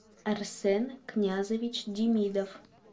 арсен князович демидов